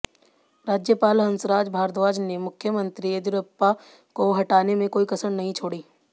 राज्यपाल हंसराज भारद्वाज ने मुख्यमंत्री येदियुरप्पा को हटाने में कोई कसर नहीं छोड़ी